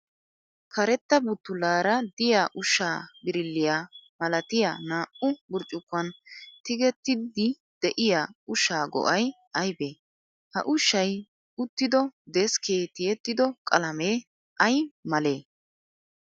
karetta buttullaara diya ushshaa birilliya malatiya naa"u burccukkuwaan tigettiiddi diya ushshaa go'ay ayibee? ha ushshay uttido deskkee tiyettido qalamee ay malee?